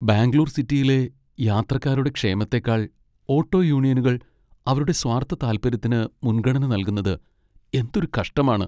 ബാംഗ്ലൂർ സിറ്റിയിലെ യാത്രക്കാരുടെ ക്ഷേമത്തേക്കാൾ ഓട്ടോ യൂണിയനുകൾ അവരുടെ സ്വാർത്ഥതാൽപ്പര്യത്തിന് മുൻഗണന നൽകുന്നത് എന്തൊരു കഷ്ടമാണ്.